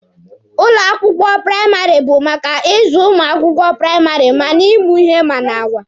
Ụlọ akwụkwọ praịmarị bụ maka ịzụ ụmụ akwụkwọ praịmarị ma na ịmụ ihe ma n'agwa.